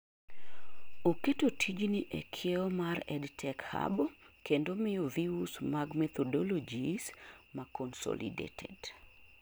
oketo tijni ee kiewo mar EdTech Hub kendo miyo views mag methodologies ma consolodated